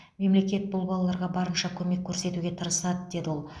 мемлекет бұл балаларға барынша көмек көрсетуге тырысады деді ол